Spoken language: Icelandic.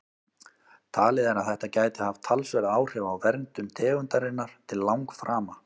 Talið er að þetta gæti haft talsverð áhrif á verndun tegundarinnar til langframa.